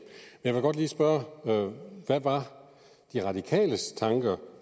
jeg vil godt lige spørge hvad de radikales tanker